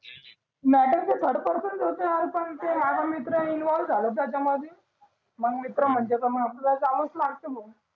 matter तर third पर्सनच होत अरे पण ते माझा मित्र इन्व्हॉल्व्ह झाला त्याचमधी माझा मित्र म्हणते मग तुले जावच लागते भो